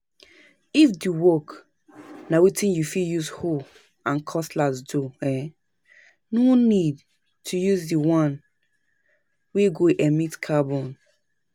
If di work na wetin you fit use hoe and cutlass do, um no need to use di one wey go emit carbon